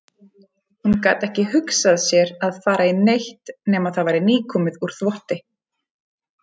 Hún gat ekki hugsað sér að fara í neitt nema það væri nýkomið úr þvotti.